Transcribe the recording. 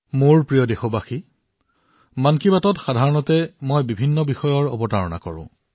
মোৰ মৰমৰ দেশবাসীসকল সাধাৰণতে মন কী বাতত মই বিভিন্ন বিষয়ৰ ওপৰত কথা পাতো